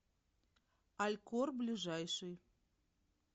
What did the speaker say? алькор ближайший